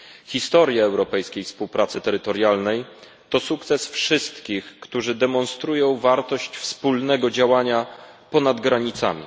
Historia europejskiej współpracy terytorialnej to sukces wszystkich, którzy demonstrują wartość wspólnego działania ponad granicami.